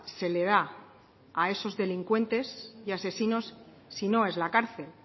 se le da a esos delincuentes y asesinos si no es la cárcel